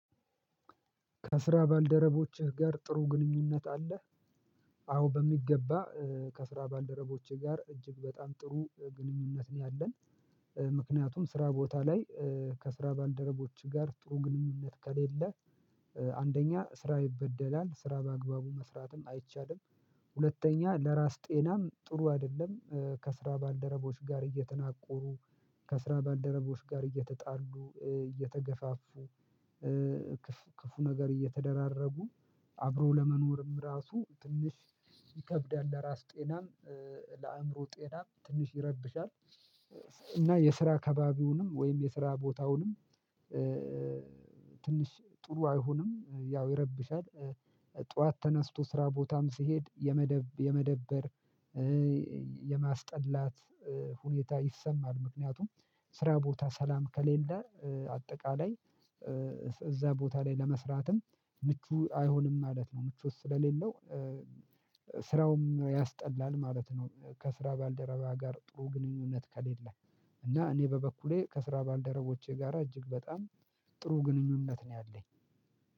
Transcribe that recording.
ከስራ ባልደረቦችህ ጋር ጥሩ ግንኙነት አለህ? አዎ በሚገባ ከስራ ባልደረቦቼ ጋር እጅግ በጣም ጥሩ ግንኙነት ነው ያለን። ምክንያቱም ስራ ቦታ ላይ ከስራ ባልደረቦች ጋር ጥሩ ግንኙነት ከሌለ አንደኛ ስራ ይበደላል ስራ በአግባቡ መስራትም አይቻልም። ሁለተኛ ለራስ ጤናም ጥሩ አይደለም። ከስራ ባልደረቦች ጋር እየተናቆሩ ከስራ ባልደረቦች ጋር እየተጣሉ እየተገፋፉ። ክፉ ነገር እየተደራረጉ አብሮ ለመኖርም ራሱ ትንሽ ይከብዳል። ለራስ ጤናም ለአእምሮ ጤናም ትንሽ ይረብሻል። እና የስራ አከባቢውንም ወይም የስራ ቦታውንም ትንሽ ጥሩ አይሆንም ያው ይረበሻል። ጠዋት ተነስቶ ስራ ቦታም ሲሄድ የመደብ የመደብር የማስጠላት ሁኔታ ይሰማል። ምክንያቱም ስራ ቦታ ሰላም ከሌለ አጠቃላይ እዛ ቦታ ላይ ለመስራትም ምቹ አይሆንም ማለት ነው። ምቾት ስለሌለው ስራውም ያስጠላል ማለት ነው። ከስራ ባልደረባ ጋር ጥሩ ግንኙነት ከሌለ። እና እኔ በበኩሌ ከስራ ባልደረባዎቼ ጋራ እጅግ በጣም ጥሩ ግንኙነት ነው ያለኝ።